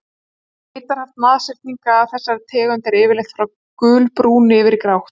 Litarhaft nashyrninga af þessari tegund er yfirleitt frá gulbrúnu yfir í grátt.